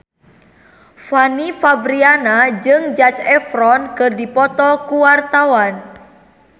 Fanny Fabriana jeung Zac Efron keur dipoto ku wartawan